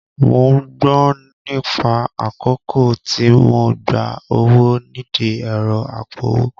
Mò ń gbọ̀n nígbà àkọ́kọ́ tí mo gba owó nídìí ẹ̀rọ apowó